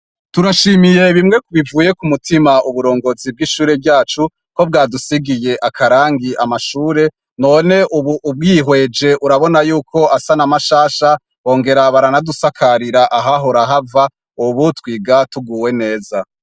Turashimiye bimwe bivuye kumutima uburongozi bw'ishure ryacu ko bwadusigiye akarangi amashure, none ubu ubwihweje urabona yuko asa namashasha bongera baranadusakarira ahahora hava ubu twiga tuguwe neza.